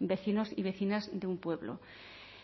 vecinos y vecinas de un pueblo